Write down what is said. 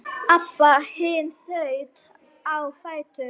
Abba hin þaut á fætur.